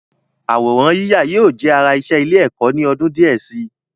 Àwòrán yíyà yóò jẹ́ ara iṣẹ́ ilé-ẹ̀kọ́ ni ọdún díẹ̀ si.